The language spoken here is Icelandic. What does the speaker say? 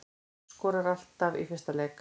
Skorar alltaf í fyrsta leik